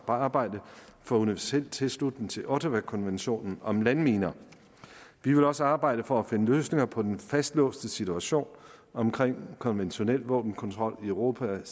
arbejde for universel tilslutning til ottawakonventionen om landminer vi vil også arbejde for at finde løsninger på den fastlåste situation omkring konventionel våbenkontrol i europa